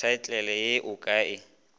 thaetlele ye o ka e